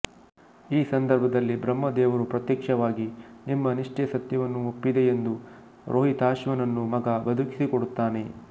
ಈ ಸಂದರ್ಭದಲ್ಲಿ ಬ್ರಹ್ಮ ದೇವರು ಪ್ರತ್ಯಕ್ಷವಾಗಿ ನಿಮ್ಮ ನಿಷ್ಟೆ ಸತ್ಯವನ್ನು ಒಪ್ಪಿದೆ ಎಂದು ರೋಹಿತಾಶ್ವನನ್ನುಮಗ ಬದುಕಿಸಿ ಕೊಡುತ್ತಾನೆ